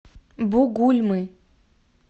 бугульмы